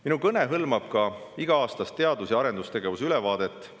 Minu kõne hõlmab ka iga-aastast teadus- ja arendustegevuse ülevaadet.